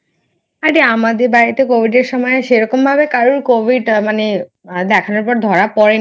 আরে আমাদের বাড়িতে Covid এর সময় সেরকম ভাবে কারোর Covid মানে দেখানোর পর ধরা পরে নি।